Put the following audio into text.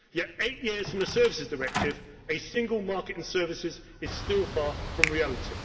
era. Yet eight years since the Services Directive, a single market in services is still far from reality.